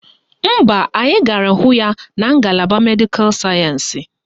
Mba, anyị gara hụ ya na ngalaba Medịkal sayensị